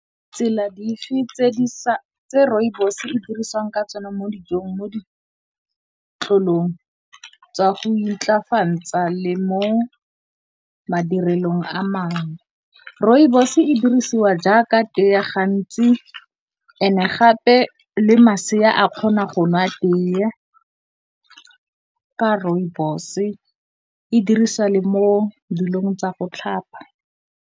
Tsela dife tse Rooibos e dirisiwang ka tsona mo dijong, mo ditlolong tsa go intlafatsa le mo madirelong a mangwe? Rooibos e dirisiwa jaaka tee gantsi, gape le masea a kgona go nwa tee ya Rooibos e diriswa le mo dilong tsa go tlhapa.